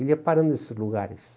Ele ia parando nesses lugares.